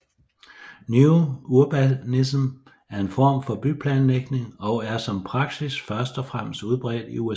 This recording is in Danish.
New Urbanism er en form for byplanlægning og er som praksis først og fremmest udbredt i USA